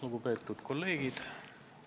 Lugupeetud kolleegid!